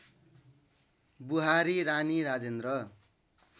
बुहारी रानी राजेन्द्र